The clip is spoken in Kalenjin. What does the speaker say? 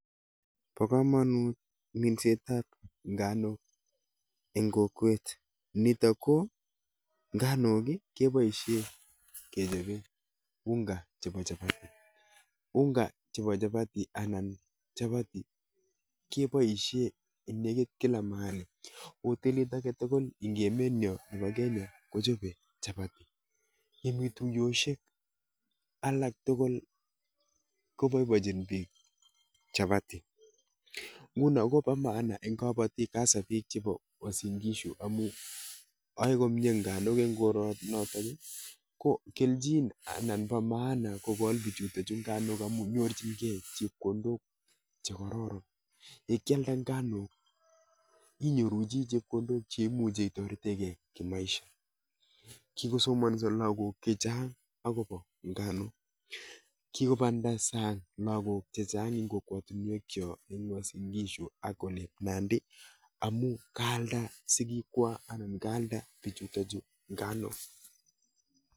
Bo komonut minsetab nganok eng' kokwet. Nitok ko, nganok keboisie kechobe unga chebo chapati. Unga chebo chapati anan chapati, keboisie eng' nekit kila mahali. Hotelit age tugul eng' emet nyo nebo Kenya, kochobe chapati. Yemii tuyoshek alak tugul, koboibochin biik chapati. Nguno kobo maana eng' kabatik hasa biik chebo uasin-Gishu, amuu ae komyee nganok eng' koronotok, ko kelchin anan bo maana kogol bichutochu nganok amu nyorchinkeiy chepkondok che kararan. Ye kialda nganok, inyoru chi chepkondok che imuche itoretenkeiy kimaisha Kikosomanso lagok chechang' agobo nganok. Kikomanda sang lagok chechang' eng' kokwotunwek chok eng' Uasin-Gishu ak olep Nandi amu kaalda sigikwak anan kaalda bichutochu nganok